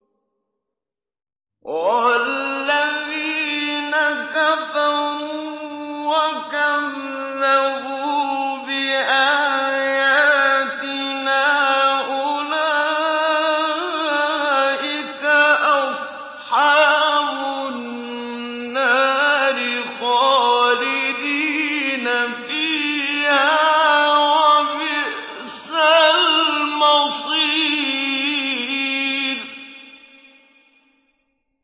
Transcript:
وَالَّذِينَ كَفَرُوا وَكَذَّبُوا بِآيَاتِنَا أُولَٰئِكَ أَصْحَابُ النَّارِ خَالِدِينَ فِيهَا ۖ وَبِئْسَ الْمَصِيرُ